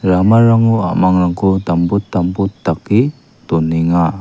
ramarango a·mangrangko dambot dambot dake donenga.